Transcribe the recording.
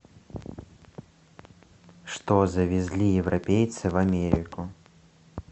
что завезли европейцы в америку